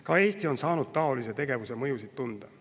Ka Eesti on saanud taolise tegevuse mõju tunda.